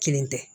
Kelen tɛ